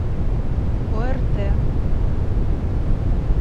орт